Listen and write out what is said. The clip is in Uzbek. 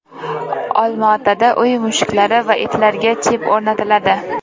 Olmaotada uy mushuklari va itlarga chip o‘rnatiladi.